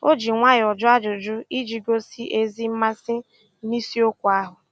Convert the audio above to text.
O ji nwayọọ jụọ ajụjụ iji gosi ezi mmasị nisiokwu ahụ